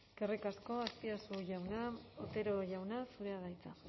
eskerrik asko azpiazu jauna otero jauna zurea da hitza